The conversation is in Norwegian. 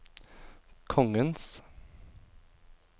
kongens